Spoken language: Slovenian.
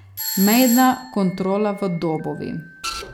Mejna kontrola v Dobovi.